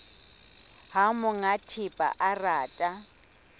ha monga thepa a rata